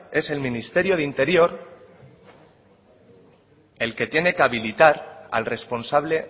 en el ministerio de interior el que tiene que habilitar al responsable